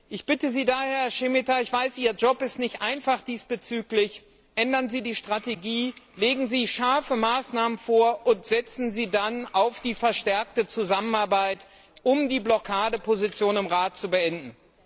Ich bitte Sie daher, Herr Šemeta ich weiß, Ihr Job ist diesbezüglich nicht einfach ändern Sie die Strategie, legen Sie scharfe Maßnahmen vor und setzen Sie dann auf die verstärkte Zusammenarbeit, um die Blockadeposition im Rat zu beenden!